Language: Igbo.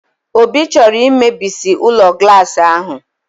Obi chọrọ imebisi ụlọ glaasị ahụ!